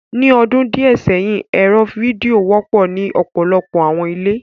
Ni ọdun diẹ sẹhin, ẹrọ fidio wọpọ ni ọpọlọpọ awọn ile